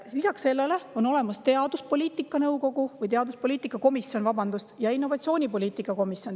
Lisaks sellele on olemas teaduspoliitika komisjon ja innovatsioonipoliitika komisjon.